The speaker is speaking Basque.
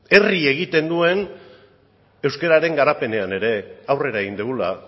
herri egiten duen euskararen garapenean ere aurrera egin dugula